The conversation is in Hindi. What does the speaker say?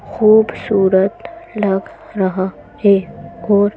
खूबसूरत लग रहा है और --